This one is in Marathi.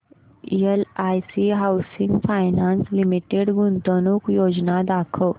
एलआयसी हाऊसिंग फायनान्स लिमिटेड गुंतवणूक योजना दाखव